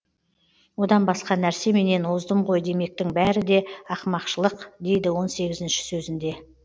одан басқа нәрсеменен оздым ғой демектің бәрі де ақымақшылық дейді он сегізінші сөзінде